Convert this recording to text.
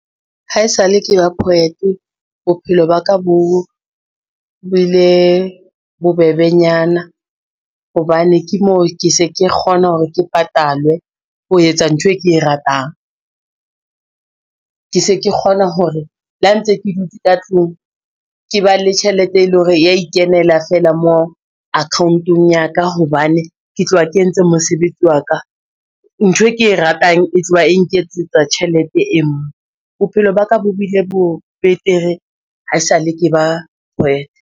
Haesale ke ba poet, bophelo ba ka bo ile bo bebenyana. Hobane ke moo ke se ke kgona hore ke patalwe ho etsa ntho e ke e ratang, ke se ke kgona hore le ha ntse ke dutse ka tlung ke ba le tjhelete, e leng hore ya ikenela fela moo account-ong ya ka hobane ke tloha ke entse mosebetsi wa ka. Ntho e ke e ratang e tloha e nketsetsa tjhelete e bophelo baka bo bile bo betere haesale ke ba poet.